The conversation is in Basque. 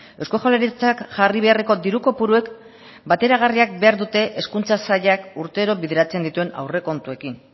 eusko jaurlaritzak jarri beharreko diru kopuruek bateragarria behar dute hezkuntza sailak urtero bideratzen dituen aurrekontuekin